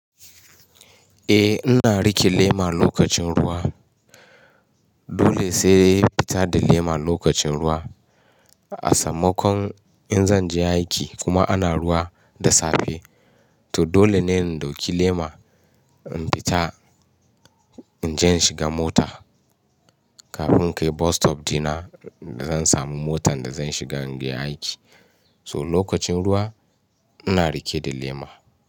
Eh ina rike lema lokacin ruwa. Dole sai fita da lema lokacin ruwa. A sammakon in zan je aiki kuma ana ruwa da safe. To dole ne in dauki lema in fita, in je in shiga mota kafin kai bus stop dina da zan samu motan da zan shiga in gya aiki. So lokacin ruwa ina rike da lema.